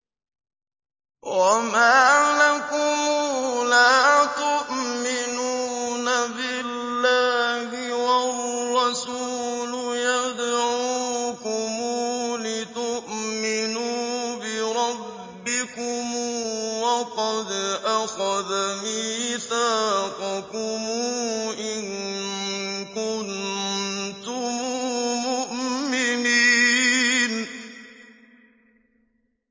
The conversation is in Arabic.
وَمَا لَكُمْ لَا تُؤْمِنُونَ بِاللَّهِ ۙ وَالرَّسُولُ يَدْعُوكُمْ لِتُؤْمِنُوا بِرَبِّكُمْ وَقَدْ أَخَذَ مِيثَاقَكُمْ إِن كُنتُم مُّؤْمِنِينَ